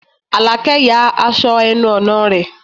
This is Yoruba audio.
Àlàkẹ́ ya aṣọ ẹnu ọ̀nà rẹ̀